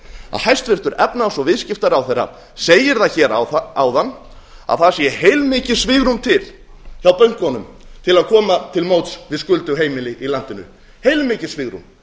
að hæstvirtur efnahags og viðskiptaráðherra segir það hér áðan að það sé heilmikið svigrúm til hjá bönkunum til að koma til móts við skuldug heimili í landinu heilmikið svigrúm